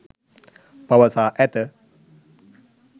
පවසා ඇත.